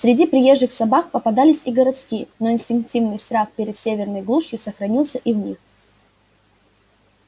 среди приезжих собак попадались и городские но инстинктивный страх перед северной глушью сохранился и в них